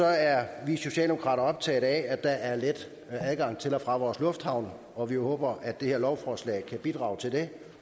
er vi socialdemokrater optaget af at der er let adgang til og fra vores lufthavne og vi håber at det her lovforslag kan bidrage til det